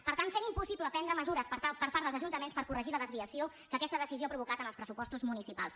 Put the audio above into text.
per tant fent impossible prendre mesures per part dels ajuntaments per corregir la desviació que aquesta decisió ha provocat en els pressupostos municipals